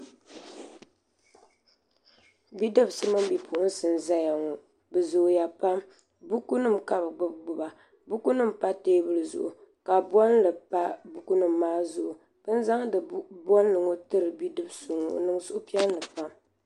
Bidibsi mini bipuɣinsi n zaya ŋɔ bɛ zooya pam buku nima ka bɛ gbibi gbiba buku nima pa teebuli zuɣu ka bolli pa buku nima maa zuɣu bini zaŋdi bolli tiri bidib'so ŋɔ o niŋ suhupiɛlli pam.